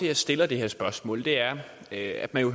jeg stiller det her spørgsmål er at man jo